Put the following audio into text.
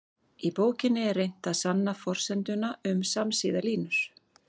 Í bókinni er reynt að sanna forsenduna um samsíða línur.